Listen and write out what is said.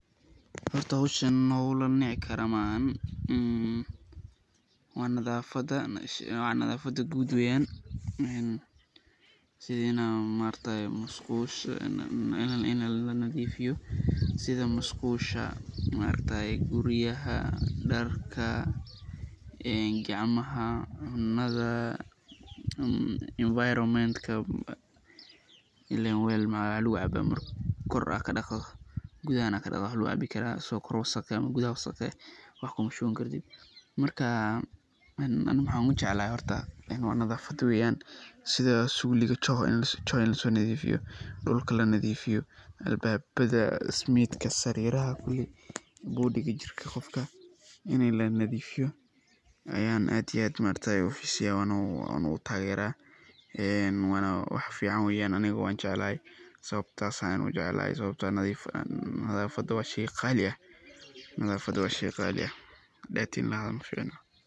Horta howshan howl lanici karo maahan, waa nadafada guud weeyan, sidi musqusha in lanadiifiyo, guryaha, darka, gacmaha, cunada, environment ka in leen weel mxaa wax lagu cabaa marki aad kor kadaqdo gudahana aad kadaqdo ayaa wax lagu cabi karaa, asago kor iyo gudaha wasaq ka eh wax Kuma shuban kartid, marki ani waxaan ujeclahay nadafada weeyan sida suuliga in lasoo nadiifiyo, dulka lanadiifiyo, albaabada, smiidka, sariiraha kuli, jirka qofka in lanadiifiyo ayaan aad iyo aad uxiiseya oo aan taageera, waana wax fican weeyan sababta ayaan ujeclahay nadafada waa sheey qaali ah.